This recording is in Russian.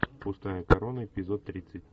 пустая корона эпизод тридцать